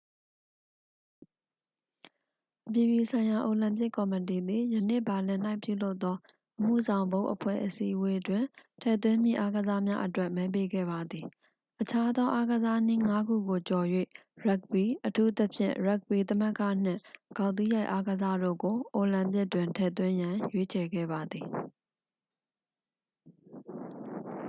အပြည်ပြည်ဆိုင်ရာအိုလံပစ်ကော်မတီသည် ယနေ့ ဘာလင်၌ပြုလုပ်သော အမှုဆောင်ဘုတ်အဖွဲ့အစည်းအဝေးတွင် ထည့်သွင်းမည့်အားကစားနည်းများအတွက် မဲပေးခဲ့ပါသည် အခြားသောအားကစားနည်းငါးခုကိုကျော်၍ ရပ်ဂ်ဘီ အထူးသဖြင့် ရပ်ဂ်ဘီသမဂ္ဂ နှင့် ဂေါက်သီးရိုက်အားကစားတို့ကို အိုလံပစ်တွင်ထည့်သွင်းရန် ရွေးချယ်ခဲ့ပါသည်